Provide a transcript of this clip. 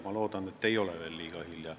Ma loodan, et ei ole veel liiga hilja.